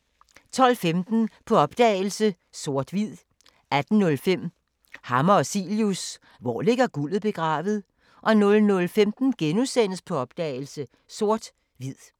12:15: På opdagelse – Sort/Hvid 18:05: Hammer og Cilius – Hvor ligger guldet begravet? 00:15: På opdagelse – Sort/Hvid *